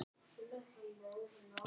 Halldór Jónsson yngri.